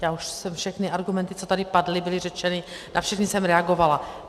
Já už jsem všechny argumenty, co tady padly, byly řečeny, na všechny jsem reagovala.